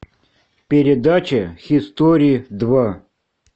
передача хистори два